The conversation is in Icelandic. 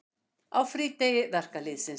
Á frídegi verkalýðsins.